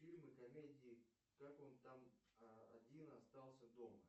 фильмы комедии как он там один остался дома